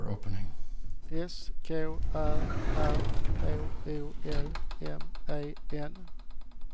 S K Ä R H O L M E N